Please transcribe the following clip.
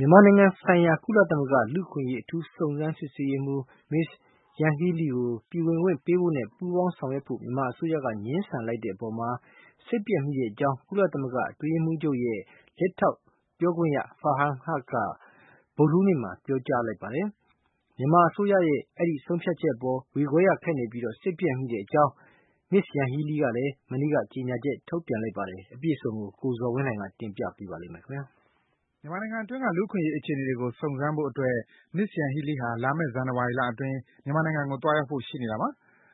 မြန်မာနိုင်ငံဆိုင်ရာ ကုလသမဂ္ဂ လူ့အခွင့်အရေး အထူးစုံစမ်းရေးမှူး Ms. Yanghee Lee ကို ပြည်ဝင်ခွင့်ပေးဖို့နဲ့ ပူးပေါင်း ဆောင်ရွက်ဖို့ မြန်မာအစိုးရက ငြင်းဆန်လိုက်တဲ့အပေါ် စိတ်ပျက်မိကြောင်း ကုလသမဂ္ဂ အတွင်းရေးမှူးချုပ်ရဲ့ လက်ထောက်ပြောခွင့်ရ Farhan Haq က ဗုဒ္ဓဟူးနေ့မှာ ပြောကြားလိုက်ပါတယ်။ မြန်မာအစိုးရရဲ့ ဒီဆုံးဖြတ်ချက်အပေါ် ဝေခွဲရခက်ပြီး စိတ်ပျက်မိကြောင်း Yanghee Lee ကလည်း မနေ့က ကြေညာချက် ထုတ်ပြန်လိုက်ပါတယ်။ အပြည့်အစုံကို ကိုဇော်ဝင်းလှိုင်က တင်ပြပေးထားပါတယ်။ မြန်မာနိုင်ငံအတွင်းက လူ့အခွင့်အရေး အခြေအနေတွေကို စုံစမ်းဖို့အတွက် Ms. Yanghee Lee ဟာ လာမယ့် ဇန်နဝါရီလအတွင်း မြန်မာနိုင်ငံကို သွားရောက်ဖို့ ရှိနေတာပါ